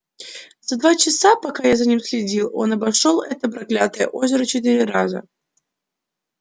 за два часа пока я за ним следил он обошёл это проклятое озеро четыре раза